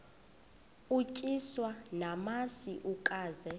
utyiswa namasi ukaze